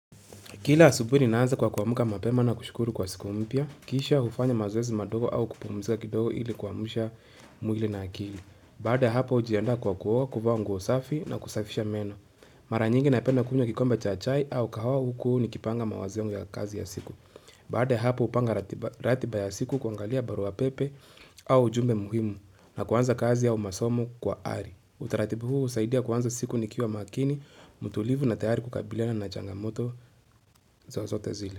Kila asubuhi ninaanza kwa kuamuka mapema na kushukuru kwa siku mpya, kisha ufanya mazwezi madogo au kupumisika kidogo ili kuamusha mwili na akili. Baada hapa ujianda kwa kuwa kuwa kuvaa nguo safi na kusafisha meno. Mara nyingi naipenda kunywa kikombe cha chai au kahawa huku nikipanga mawazion ya kazi ya siku. Baade hapa upanga ratiba ya siku kuangalia barua pepe au jumbe muhimu na kuanza kazi au masomo kwa ari. Utaratibu huu husaidia kuanzo siku nikiwa makini, mutulivu na tayari kukabilena na changamoto zozote zile.